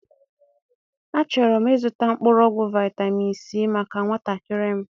A chọrọ m ịzụta mkpụrụọgwụ vitamin c maka nwatakịrị m